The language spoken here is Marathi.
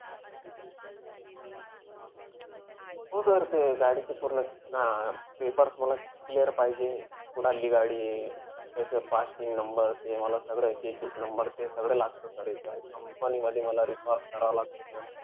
हो sir ते गाडीचे पूर्ण अं papers मला clear पाहिजे. कुढाली गाडीये, त्याचं passing number ते मला सगळं checks number ते सगळं लागतं sir इथं. Company मध्ये मला करावं लागतं sir.